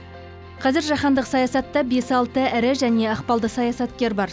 қазір жаһандық саясатта бес алты ірі және ықпалды саясаткер бар